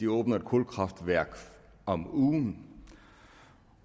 åbner et kulkraftværk om ugen